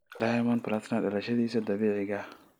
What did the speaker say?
diamond plutnumz dhalashadiisa dabiiciga ah